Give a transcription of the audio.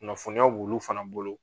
Kunnafoniya b'olu fana bolo.